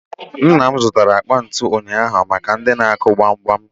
Nna m zụtara akpa ntụ ụnyaahụ maka ndị na-akụ gbamgbam